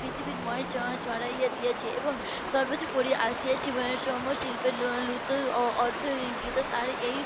পৃথিবীময় ছড়িয়ে দিয়েছে এবং সর্বোপরি .